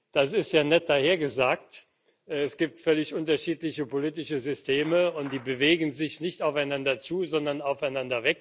Das ist ja nett dahergesagt, aber es gibt völlig unterschiedliche politische Systeme, und die bewegen sich nicht aufeinander zu, sondern voneinander weg.